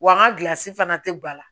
Wa n ka fana tɛ ba la